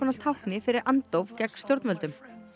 tákni fyrir andóf gegn stjórnvöldum